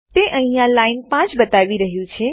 તે અહીંયા લાઈન 5 બતાવી રહ્યું છે